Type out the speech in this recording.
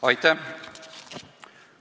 Aitäh!